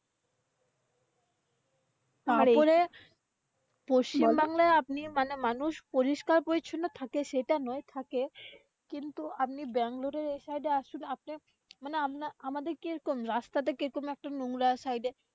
তারপরে, পশ্চিমবাংলাই আপনি মানে মানুষ পরিষ্কার পরিচ্ছন্ন থাকে সেটা নয় থাকে কিন্তুকিন্তু আপনি ব্যাঙ্গালোরের এই side আসুন আপনির। মানে আপনার আমাদের কি রকম? রাস্তা টা কিরকম নোংরা side এ